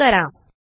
save करा